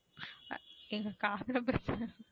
ஏன் காதுல பிரச்சன,